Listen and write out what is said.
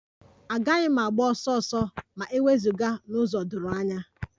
Agaghị m agba ọsọ ọsọ ma e wezụga n'ụzọ doro anya